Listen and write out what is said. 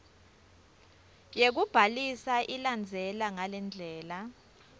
yekubhalisa ilandzela ngalendlela